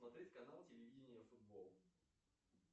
смотреть канал телевидение футбол